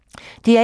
DR1